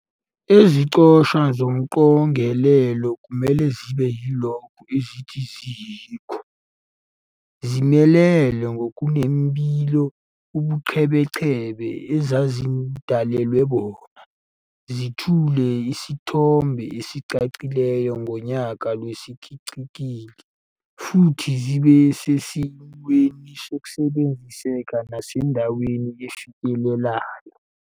Iziqoshwa zomqogelelo kumele zibe yilokho ezithi ziyikho, zimelele ngokunembile ubuqhebeqhebe ezazidalelwe bona, zethule isithombe esicacileyo ngoyaca lwesiqikili, futhi zibe sesimweni sokusebenziseka nasendaweni efikelelayo.